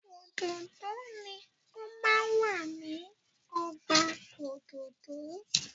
Òdòdó ni o máa ń wà ní ọgbà òdòdó.